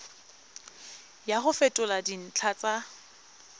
ya go fetola dintlha tsa